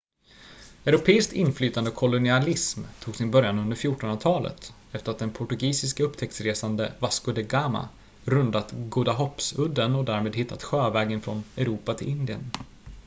europeiskt inflytande och kolonialism tog sin början under 1400-talet efter att den portugisiske upptäcktsresanden vasco da gama rundat godahoppsudden och därmed hittat sjövägen från europa till indien